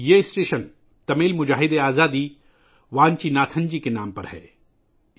اس station کا نام تمل مجاہد آزادی وانچی ناتھن جی کے نام پر رکھا گیا ہے